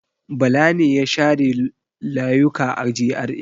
Bala ne ya share layuka a GRA.